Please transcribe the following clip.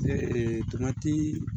tomatii